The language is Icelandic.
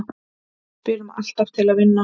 Spilum alltaf til að vinna